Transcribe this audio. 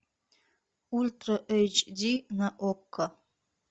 ультра эйч ди на окко